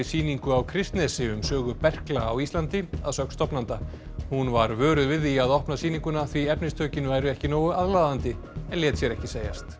sýningu á Kristnesi um sögu berkla á Íslandi að sögn stofnanda hún var vöruð við því að opna sýninguna því efnistökin væru ekki nógu aðlaðandi en lét sér ekki segjast